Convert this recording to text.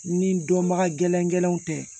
Ni dɔnbaga gɛlɛn gɛlɛnw tɛ